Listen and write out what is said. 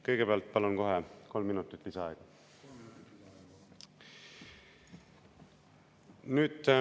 Kõigepealt palun kohe kolm minutit lisaaega.